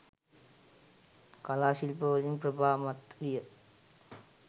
කලා ශිල්ප වලින් ප්‍රභාමත් විය.